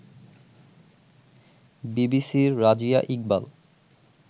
বিবিসির রাজিয়া ইকবাল